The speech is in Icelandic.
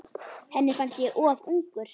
Henni fannst ég of ungur.